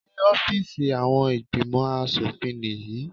Ṣé ọ́fíìsì àwọn ìgbìmò aṣòfin nìyí?